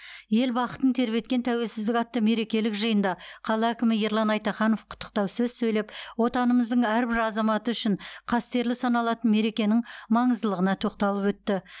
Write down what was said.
ел бақытын тербеткен тәуелсіздік атты мерекелік жиында қала әкімі ерлан айтаханов құттықтау сөз сөйлеп отанымыздың әрбір азаматы үшін қастерлі саналатын мерекенің маңыздылығына тоқталып өтті